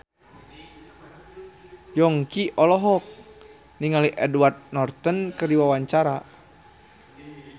Yongki olohok ningali Edward Norton keur diwawancara